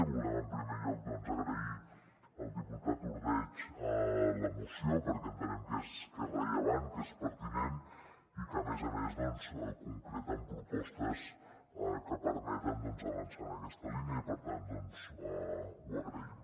volem en primer lloc doncs agrair al diputat ordeig la moció perquè entenem que és rellevant que és pertinent i que a més a més concreta amb propostes que permeten avançar en aquesta línia i per tant ho agraïm